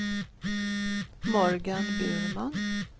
Morgan Burman